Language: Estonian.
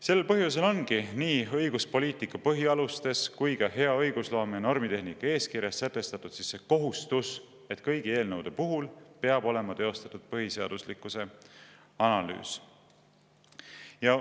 Sel põhjusel ongi nii õiguspoliitika põhialustes kui ka hea õigusloome ja normitehnika eeskirjas sätestatud see kohustus, et kõigi eelnõude puhul peab olema teostatud põhiseaduslikkuse analüüs.